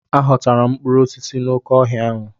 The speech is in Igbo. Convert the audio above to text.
A ghọtara m mkpụrụ osisi n'oké ọhịa ahụ.